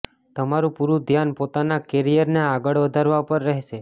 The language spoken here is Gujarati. તમારું પૂરું ધ્યાન પોતાના કેરિયર ને આગળ વધારવા પર રહેશે